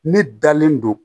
Ne dalen don